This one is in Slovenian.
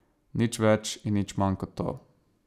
Nič več in nič manj kot to.